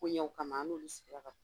Ko ɲɛw kama an n'olu sigila ka